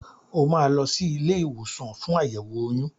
O máa lọ sí ilé ìwòsàn fún àyẹ̀wò oyún.